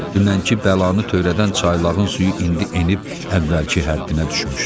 Dünənki bəlanı törədən çaylığın suyu indi enib əvvəlki həddinə düşmüşdü.